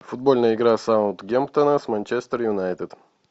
футбольная игра саутгемптона с манчестер юнайтед